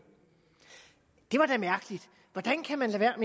det var da mærkeligt hvordan kan man lade